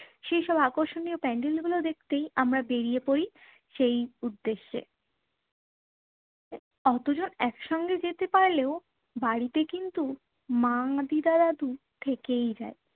সেই সব আকর্ষণীয় প্যান্ডেল গুলো দেখতেই আমরা বেরিয়ে পরি সেই উদ্দেশ্যে। অতজন একসঙ্গে যেতে পারলেও বাড়িতে কিন্তু মা, দিদা, দাদু থেকেই যায়।